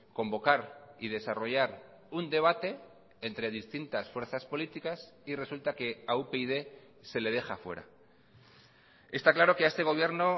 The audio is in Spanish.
convocar y desarrollar un debate entre distintas fuerzas políticas y resulta que a upyd se le deja fuera está claro que a este gobierno